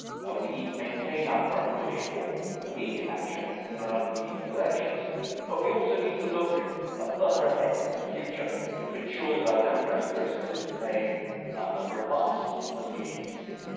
We need to maintain our current push for immediate action in the run-up to the EP elections, but we also need to look further ahead, to the future, to ensure that our democratic processes remain as robust as we need them to be.